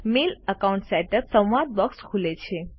mail account setup સંવાદ box ખુલે છે